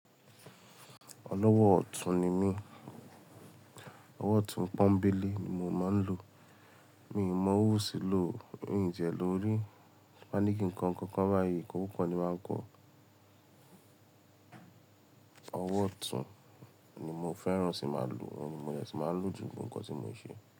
Ọlọ́wọ́ ọ̀tún ni mí. Ọwọ́ ọ̀tún pọ́nńbélé ni mo máa ń lò. Mi n mon ọwọ́ òsì lò o i n tiẹ̀ lò rí ma ní kí n kọ nkan kan báyìí, ikokuko ni máa kọ́. Ọwọ́ ọ̀tún ni mo fẹ́ràn sí máa lò, òun ni mo dẹ̀ sí máa ń lò jù ní gbogbo nǹkan tí mo ń ṣe.